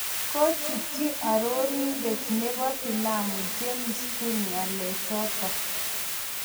Kochutchi Arorindet nepo filamu James Gunn ng'alechotok